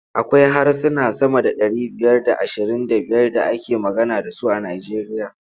Akwai harsuna sama da ɗari biyar da ashirin da biyar da ake magana da su a Nijeriya.